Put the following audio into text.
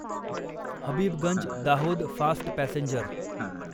Habibganj Dahod fast passenger